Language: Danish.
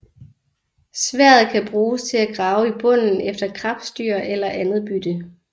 Sværdet kan bruges til at grave i bunden efter krebsdyr eller andet bytte